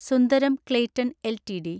Sundaram Clayton LTD